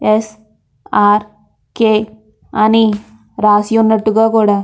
SRK. అని రాసి ఉన్నట్టుగా కూడా --